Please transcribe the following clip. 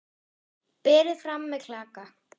Berið fram með klaka.